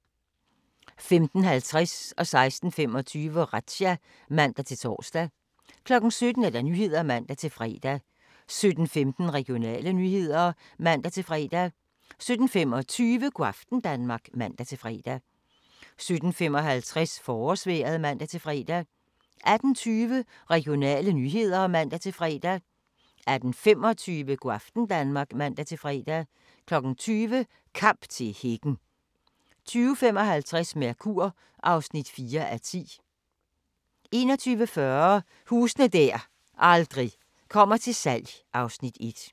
16:25: Razzia (man-tor) 17:00: Nyhederne (man-fre) 17:16: Regionale nyheder (man-fre) 17:25: Go' aften Danmark (man-fre) 17:55: Forårsvejret (man-fre) 18:20: Regionale nyheder (man-fre) 18:25: Go' aften Danmark (man-fre) 20:00: Kamp til hækken 20:50: Mercur (4:10) 21:40: Huse der aldrig kommer til salg (Afs. 1)